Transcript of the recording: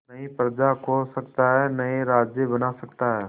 नई प्रजा खोज सकता है नए राज्य बना सकता है